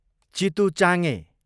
चितुचाङे